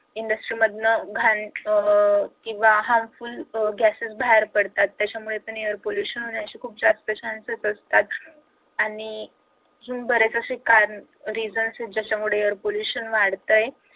industry मधनं घाण किंवा harmful gases बाहेर पडतात त्याच्यामुळे पण air pollution होणे अशी जास्त chances असतात आणि अजून बरेच असे कारण reasons आहेत ज्याच्यामुळे air pollution वाढतंय